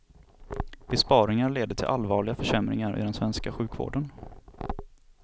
Besparingar leder till allvarliga försämringar i den svenska sjukvården.